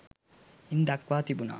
ඉන් දක්වා තිබුණා.